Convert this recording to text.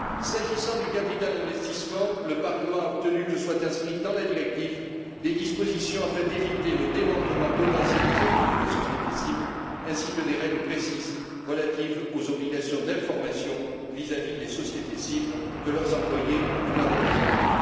S'agissant du capital investissement, le Parlement a obtenu que soient inscrites dans la directive des dispositions permettant d'éviter le démembrement potentiel des actifs de la société cible, ainsi que des règles précises relatives aux obligations d'information vis à vis des sociétés cibles, de leurs employés ou de leurs représentants.